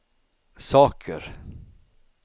saker